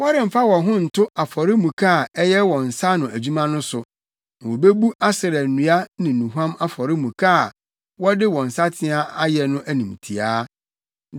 Wɔremfa wɔn ho nto afɔremuka a ɛyɛ wɔn nsa ano adwuma no so, na wobebu Asera nnua ne nnuhuam afɔremuka a wɔde wɔn nsateaa ayɛ no animtiaa.